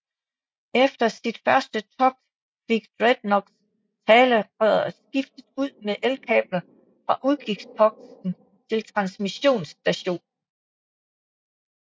Efter sit første togt fik Dreadnought talerøret skiftet ud med elkabler fra udkigsposten til transmissionsstationen